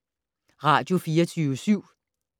Radio24syv